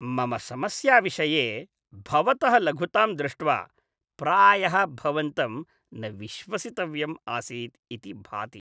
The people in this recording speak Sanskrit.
मम समस्याविषये भवतः लघुतां दृष्ट्वा प्रायः भवन्तं न विश्वसितव्यम् असीदिति मे भाति।